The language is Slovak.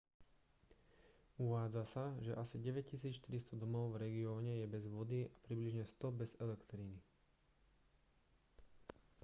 uvádza sa že asi 9400 domov v regióne je bez vody a približne 100 bez elektriny